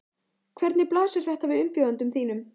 Hvernig blasir þetta við umbjóðendum þínum?